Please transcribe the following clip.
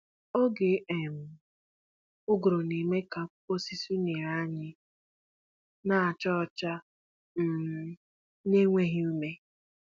Oge um ụgụrụ na-eme ka akwụkwọ osisi unere anyị na acha ọcha um na enweghị ume.